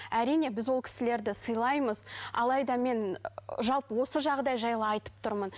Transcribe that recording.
әрине біз ол кісілерді сыйлаймыз алайда мен ы жалпы осы жағдай жайлы айтып тұрмын